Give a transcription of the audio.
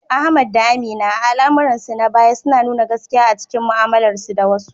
Ahmad da Amina, a al’amuransu na baya, suna nuna gaskiya a cikin mu’amalarsu da wasu.